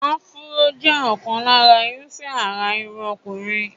Afro jẹ́ ọ̀kan lára irúfẹ́ àrà irun ọkùnrin.